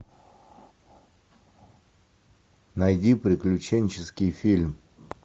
найди приключенческий фильм